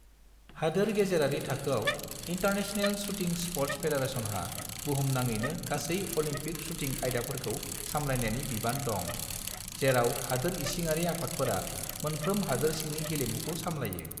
हादोर गेजेरारि थाखोआव, इन्टारनेशनेल शूटिं स्पर्ट फेडारेसनहा बुहुमनाङैनो गासै अलिम्पिक शूटिं आयदाफोरखौ सामलायनायनि बिबान दं, जेराव हादोर इसिङारि आफादफोरा मोनफ्रोम हादोर सिंनि गेलेमुखौ सामलायो।